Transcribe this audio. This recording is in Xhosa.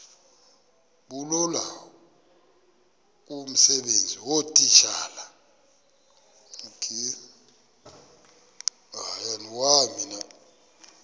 bulula kumsebenzi weetitshala